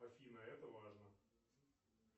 афина это важно